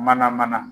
Mana mana